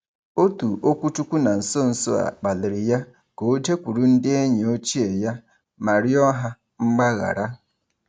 Otu okwuchukwu na nso nso a kpalịrị ya ka o jekwuru ndị enyi ochie ya ma rịọ ha mgbaghara.